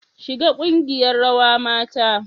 Shiga kungiyar rawa mata